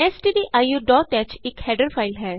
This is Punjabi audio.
stdioਹ ਇਕ ਹੈਡਰ ਫਾਈਲ ਹੈ